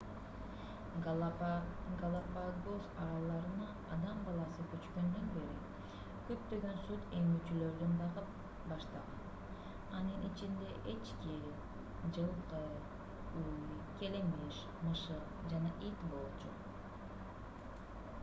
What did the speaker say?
галапагос аралдарына адам баласы көчкөндөн бери көптөгөн сүт эмүүчүлөрдү багып баштаган анын ичинде эчки жылкы уй келемиш мышык жана ит болчу